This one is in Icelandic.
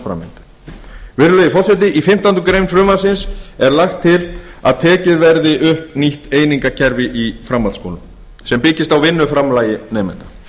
námsframleiðslu virðulegi forseti í fimmtándu greinar frumvarpsins er lagt til að tekið verði upp nýtt einingakerfi í framhaldsskólum sem byggist á vinnuframlagi nemenda